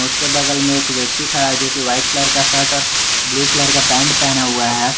उसके बगल में एक व्यक्ति खड़ा जो कि वाइट कलर का शर्ट और ब्लू कलर का पैंट पहना हुआ है।